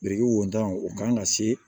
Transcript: Biriki wo tan o kan ka se